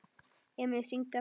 Emil hringdi aftur.